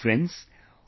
Friends,